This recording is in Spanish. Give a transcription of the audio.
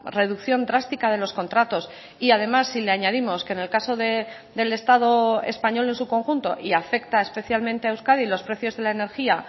reducción drástica de los contratos y además si le añadimos que en el caso del estado español en su conjunto y afecta especialmente a euskadi los precios de la energía